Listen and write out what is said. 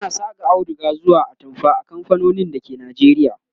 ana Saka auduga zuwa atamfa a kamfanonin dake Najeriya